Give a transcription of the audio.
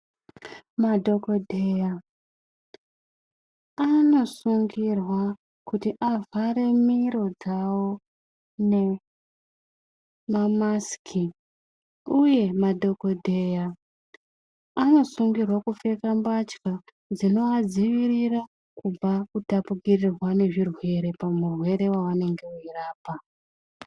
Madhokodheya anosungirwa kuti avhare miro dzawo nemamasiki, uye madhokodheya anosungirwa kupfeka mbatya dzinovadzivirira kubva kutapukirirwa nezvirwere pamurwere wavanenge veyirapa.